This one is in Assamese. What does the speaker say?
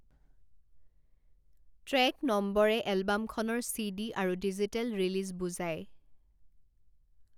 ট্ৰেক নম্বৰে এলবামখনৰ চিডি আৰু ডিজিটেল ৰিলিজ বুজায়।